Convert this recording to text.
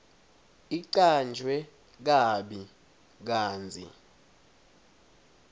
icanjwe kabi kantsi